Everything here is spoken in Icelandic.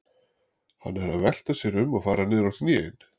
Hann er að velta sér um og fara niður á hnén.